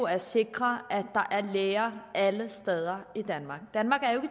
at sikre at der er læger alle steder i danmark danmark er jo